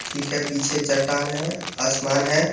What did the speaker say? ठीक है पीछे चट्टान है आसमान है।